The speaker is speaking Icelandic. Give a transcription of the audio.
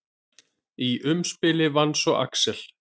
Í umspili vann svo Axel.